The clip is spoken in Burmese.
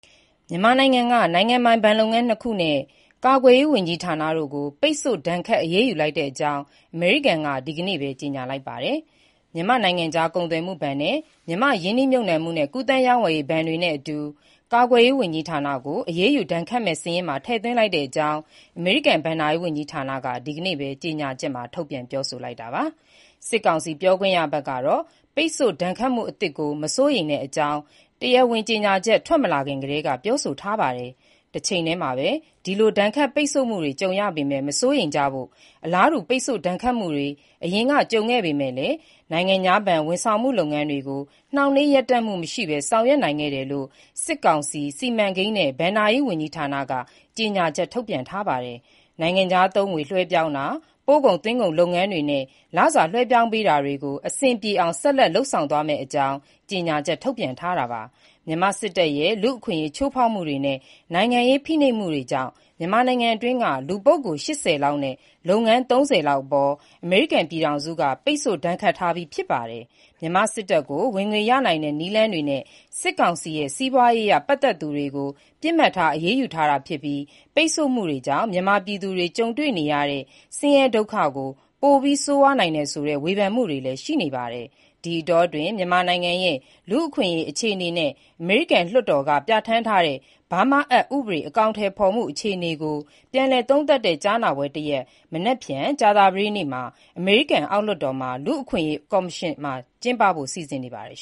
မြန်မာနိုင်ငံက နိုင်ငံပိုင် ဘဏ်လုပ်ငန်း ၂ ခုနဲ့ ကာကွယ်ရေးဝန်ကြီးဌာနတို့ကို ပိတ်ဆို့ဒဏ်ခတ် အရေးယူလိုက်ကြောင်း အမေရိကန်က ဒီကနေ့ပဲ ကြေညာလိုက်ပါတယ်။ မြန်မာ့နိုင်ငံခြား ကုန်သွယ်မှုဘဏ် (MFTB) နဲ့ မြန်မာ့ ရင်းနှီးမြုပ်နှံမှုနဲ့ ကူးသန်း ရောင်းဝယ်ရေးဘဏ် (MICB)တွေနဲ့အတူ ကာကွယ်ရေးဝန်ကြီးဌာနကို အရေးယူဒဏ်ခတ်မယ့် စာရင်းထဲမှာ ထည့်သွင်းလိုက်ကြောင်း အမေရိကန် ဘဏ္ဍာရေးဝန်ကြီးဌာနက ဒီကနေ့ပဲ ကြေညာချက် ထုတ်ပြန်ပြောဆိုလိုက်တာပါ။ စစ်ကောင်စီ ပြောခွင့်ရဘက်ကတော့ ပိတ်ဆို့ဒဏ်ခတ်မှု အသစ်ကို မစိုးရိမ်တဲ့အကြောင်း တရားဝင် ကြေညာချက် ထွက်မလာခင်ကတည်းက ပြောဆိုထားပါတယ်။ တချိန်တည်းမှာ ဒီလို ဒဏ်ခတ်ပိတ်ဆို့မှုတွေ ကြုံရပေမဲ့ မစိုးရိမ်ကြဖို့ အလားတူ ပိတ်ဆို့ဒဏ်ခတ်မှုတွေ အရင်က ကြုံခဲ့ပေမဲ့ နိုင်ငံခြားဘဏ် ဝန်ဆောင်မှုလုပ်ငန်းတွေကို နှောင့်နှေးရပ်တန့်မှု မရှိဘဲ ဆောင်ရွက်နိုင်ခဲ့တယ်လို့ စစ်ကောင်စီ စီမံကိန်းနဲ့ဘဏ္ဍာရေးဝန်ကြီးဌာနက ကြေညာချက်ထုတ်ပြန်ထားပါတယ်။ နိုင်ငံခြားသုံးငွေ လွှဲပြောင်းတာ၊ ပို့ကုန်သွင်းကုန်လုပ်ငန်းတွေနဲ့ လစာလွှဲပြောင်းပေးတာတွေကို အဆင်ပြေအောင် ဆက်လက်လုပ်ဆောင်သွားမယ့်အကြောင်း ကြေညာချက် ထုတ်ပြန်ထားတာပါ။ မြန်မာစစ်တပ်ရဲ့ လူ့အခွင့်အရေးချိုးဖေါက်မှုတွေနဲ့ နိုင်ငံရေးဖိနှိပ်မှုတွေကြောင့် မြန်မာနိုင်ငံအတွင်းက လူပုဂ္ဂိုလ် ၈၀ လောက်နဲ့ လုပ်ငန်း ၃၀ လောက်အပေါ် အမေရိကန်ပြည်ထောင်စုက ပိတ်ဆို့ဒဏ်ခတ်ထားပြီး ဖြစ်ပါတယ်။ မြန်မာစစ်တပ်ကို ဝင်ငွေရနိုင်တဲ့ နည်းလမ်းတွေနဲ့ စစ်ကောင်စီနဲ့ စီးပွားရေးအရ ပတ်သက်သူတွေကို ပစ်မှတ်ထားအရေးယူတာဖြစ်ပြီး ပိတ်ဆို့မှုတွေကြောင့် မြန်မာပြည်သူတွေ ကြုံတွေ့နေရတဲ့ ဆင်းရဲဒုက္ခကို ပိုပြီး ဆိုးဝါးနိုင်တယ်ဆိုတဲ့ ဝေဖန်မှုတွေလည်း ရှိနေပါတယ်။ ဒီအတောအတွင်း မြန်မာနိုင်ငံရဲ့ လူ့အခွင့်အရေး အခြေအနေနဲ့ အမေရိကန်လွှတ်တော်က ပြဌာန်းထားတဲ့ BURMA Act ဥပဒေ အကောင်အထည်ဖေါ်မှု အခြေအနေကို ပြန်လည်သုံးသပ်တဲ့ ကြားနာပွဲတရပ် မနက်ဖြန် ကြာသပတေးနေ့ အမေရိကန် အောက်လွှတ်တော် Tom Lantos လူ့အခွင့်အရေးကော်မရှင်မှာ ကျင်းပဖို့ စီစဉ်နေပါတယ်